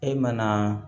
E mana